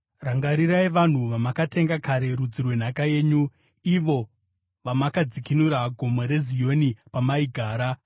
Rangarirai vanhu vamakatenga kare, rudzi rwenhaka yenyu, ivo vamakadzikinura, Gomo reZioni, pamaigara.